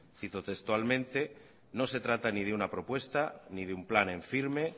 cito textualmente no se trata ni de una propuesta ni de un plan en firme